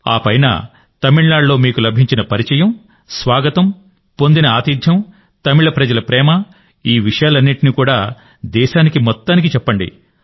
ఆపై తమిళనాడులో మీకు లభించిన పరిచయం స్వాగతం పొందిన ఆతిథ్యం తమిళ ప్రజల ప్రేమ ఈ విషయాలన్నీ దేశానికి చెప్పండి